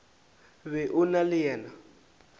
be o na le yena